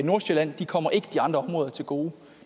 nordsjælland de kommer ikke de andre områder til gode